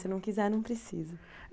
Se não quiser, não precisa.